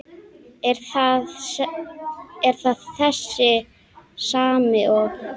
Er það þessi sami og.